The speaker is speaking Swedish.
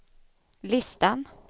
listan